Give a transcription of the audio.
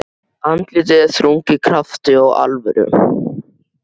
Andlitið er þrungið krafti og alvöru.